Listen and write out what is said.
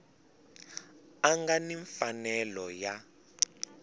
a nga ni mfanelo ya